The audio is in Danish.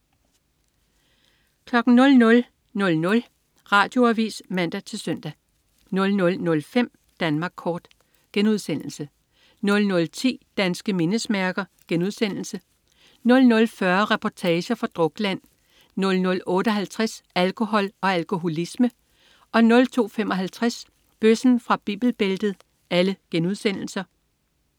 00.00 Radioavis (man-søn) 00.05 Danmark Kort* 00.10 Danske mindesmærker* 00.40 Reportager fra Drukland* 00.58 Alkohol og alkoholisme* 02.55 Bøssen fra Bibelbæltet*